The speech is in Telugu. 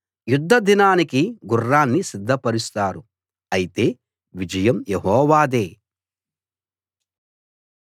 యుద్ధదినానికి గుర్రాన్ని సిద్ధపరుస్తారు అయితే విజయం యెహోవాదే